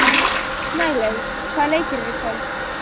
Snælaug, hvaða leikir eru í kvöld?